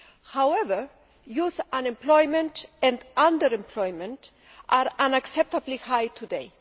However, youth unemployment and under employment are unacceptably high today.